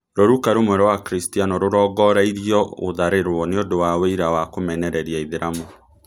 Rũruka rũmwe rwa Akristiano rũrongoreirio gũtharĩrwo nĩũndũ wa wũira wa kũmenereria aithĩramu